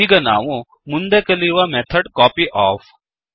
ಈಗ ನಾವು ಮುಂದೆ ಕಲಿಯುವ ಮೆಥಡ್ ಕಾಪ್ಯೋಫ್